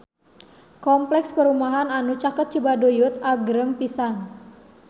Kompleks perumahan anu caket Cibaduyut agreng pisan